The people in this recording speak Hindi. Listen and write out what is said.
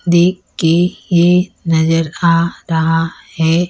देख के ये नजर आ रहा है।